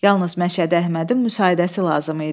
Yalnız Məşədi Əhmədin müsaidəsi lazım idi.